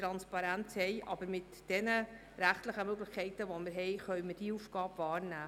Diese Aufgabe können wir aber mit den bereits bestehenden rechtlichen Möglichkeiten wahrnehmen.